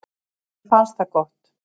Mér fannst það gott.